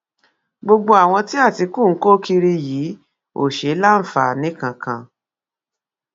gbogbo àwọn tí àtìkù ń kó kiri yìí ò ṣe é láǹfààní kankan